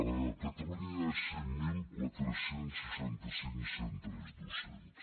a catalunya hi ha cinc mil quatre cents i seixanta cinc centres docents